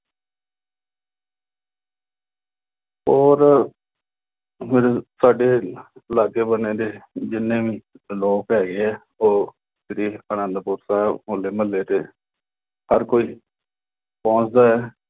ਹੋਰ ਸਾਡੇ ਲਾਗੇ-ਬੰਨ੍ਹੇ ਦੇ ਜਿੰਨੇ ਵੀ ਲੋਕ ਹੈਗੇ ਆ, ਉਹ ਸ੍ਰੀ ਅਨੰਦਪੁਰ ਸਾਹਿਬ, ਹੋਲੇ-ਮਹੱਲੇ ਤੇ ਹਰ ਕੋਈ ਪਹੁੰਚਦਾ।